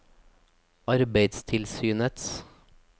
arbeidstilsynets